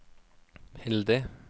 heldig